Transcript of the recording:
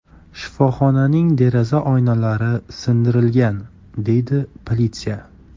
Shifoxonaning deraza oynalari sindirilgan”, – deydi politsiya.